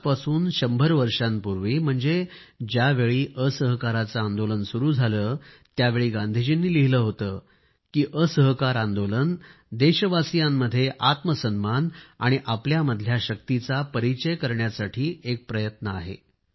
आजपासून शंभर वर्षांपूर्वी म्हणजे ज्यावेळी असहकाराचे आंदोलन सुरू झाले त्यावेळी गांधीजींनी लिहिले होते की असहकार आंदोलन देशवासियांमध्ये आत्मसन्मान आणि आपल्यामधल्या शक्तीचा परिचय करण्यासाठी एक प्रयत्न आहे